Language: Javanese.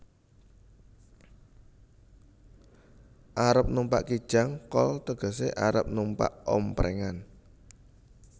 Arep numpak Kijang kol tegesé arep numpak omprèngan